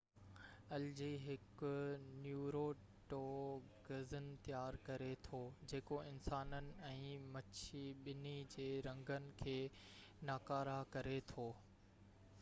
الجي هڪ نيوروٽوگزن تيار ڪري ٿو جيڪو انسانن ۽ مڇي ٻني جي رڳن کي ناڪاره ڪري ٿو